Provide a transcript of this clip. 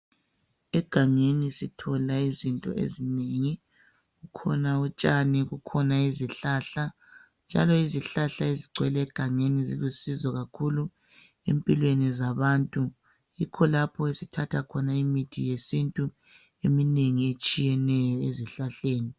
Egangeni sithola izinto ezinengi kukhona utshani kukhona izihlahla njalo izihlahla ezigcwele egangeni zilusizo kakhulu empilweni zabantu yikho lapho esithatha khona imithi yesintu eminengi etshiyeneyo ezihlahleni